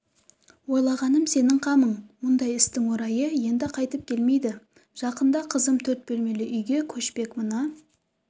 ойлағаным сенің қамың мұндай істің орайы енді қайтып келмейді жақында қызым төрт бөлмелі үйге көшпек мына